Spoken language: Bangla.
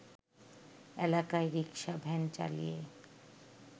এলাকায় রিক্সা-ভ্যান চালিয়ে